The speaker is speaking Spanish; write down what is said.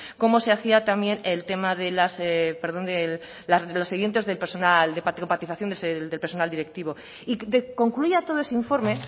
cómo se hacía también el tema de los oyentes del personal de del personal directivo y concluía todo ese informe